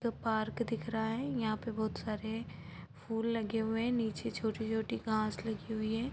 Park दिख रहा है यहां पे बोहोत सारे फूल लगे हुए है नीचे छोटी-छोटी घास लगी हुई है।